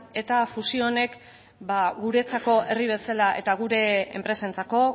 eta fusio honek ba guretzako herri bezala eta gure enpresentzako